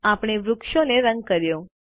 આપણે વૃક્ષને રંગ કર્યો